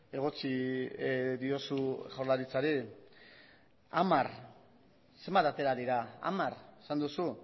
egotzi diozu jaurlaritzari hamar zenbat atera dira hamar esan duzu